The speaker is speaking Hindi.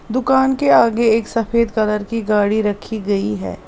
दुकान के आगे एक सफेद कलर की गाड़ी रखी गई है।